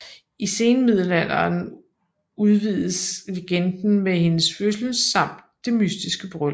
I senmiddelalderen udvides legenden med hendes fødsel samt det mystiske bryllup